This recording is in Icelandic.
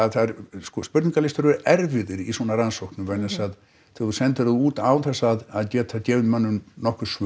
sko spurningalistar eru erfiðir í svona rannsóknum vegna þess að þú sendir þá út án þess að geta gefið mönnum nokkur svör